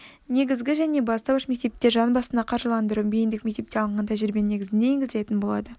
негізгі және бастауыш мектепте жан басына қаржыландыру бейіндік мектепте алынған тәжірибенің негізінде енгізілетін болады